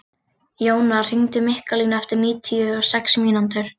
Jónar, hringdu í Mikkalínu eftir níutíu og sex mínútur.